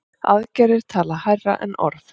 Aðgerðir tala hærra en orð.